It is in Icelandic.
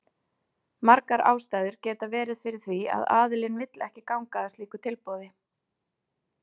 Margar ástæður geta verið fyrir því að aðilinn vill ekki ganga að slíku tilboði.